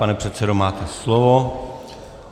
Pane předsedo, máte slovo.